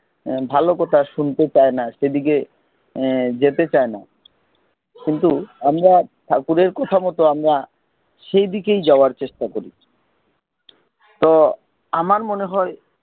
ভালো কথা শুনতে চায় না যেদিকে যেতে চায় না কিন্তু আমরা ঠাকুরের কথামত আমরা সেই দিকেই যাওয়ার চেষ্টা করি তো আমার মনে হয়